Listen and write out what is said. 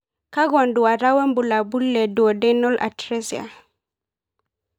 Kakwa nduata wobulabul le Duodenal atresia?